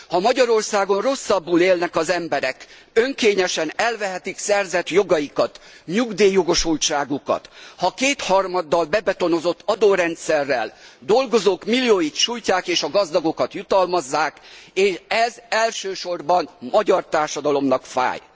Ha Magyarországon rosszabbul élnek az emberek, önkényesen elvehetik szerzett jogaikat, nyugdíjjogosultságukat, ha kétharmaddal bebetonozott adórendszerrel dolgozók millióit sújtják és a gazdagokat jutalmazzák, ez elsősorban a magyar társadalomnak fáj.